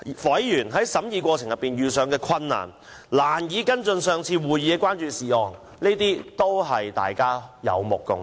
委員在審議過程中，難以跟進上次會議的關注事項，這困難也是大家有目共睹的。